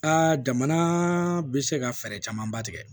jamana bɛ se ka fɛɛrɛ camanba tigɛ